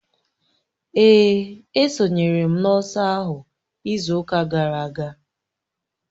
Èè, esonyere m n'ọsọ ahụ izu ụka gara aga